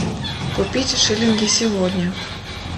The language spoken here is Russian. купить шиллинги сегодня